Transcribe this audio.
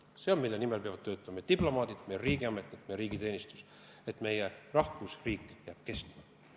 See on see, mille nimel peavad töötama diplomaadid ja riigiametnikud, et meie rahvusriik jääks kestma.